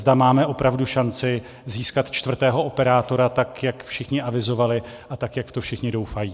Zda máme opravdu šanci získat čtvrtého operátora, tak jak všichni avizovali a tak jak v to všichni doufají.